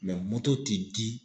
ti di